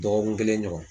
Dɔgɔkun kelen ɲɔgɔn